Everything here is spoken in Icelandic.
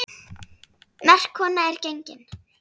Merk kona er gengin.